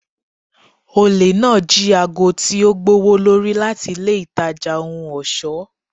Ole naa ji aago ti o gbowolori lati ile itaja ohun ọṣọ.